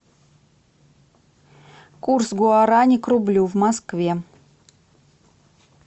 курс гуарани к рублю в москве